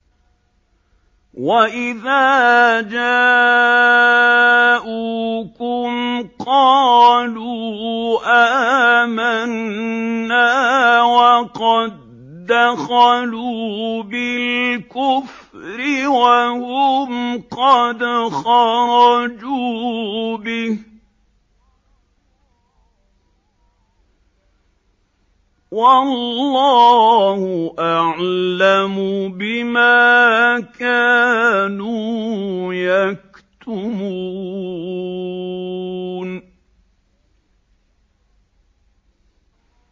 وَإِذَا جَاءُوكُمْ قَالُوا آمَنَّا وَقَد دَّخَلُوا بِالْكُفْرِ وَهُمْ قَدْ خَرَجُوا بِهِ ۚ وَاللَّهُ أَعْلَمُ بِمَا كَانُوا يَكْتُمُونَ